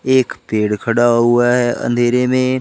एक पेड़ खड़ा हुआ है अंधेरे में।